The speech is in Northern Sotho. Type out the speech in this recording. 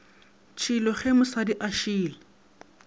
tšhilo ge mosadi a šila